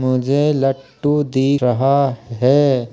मुझे लट्टू दी रहा है।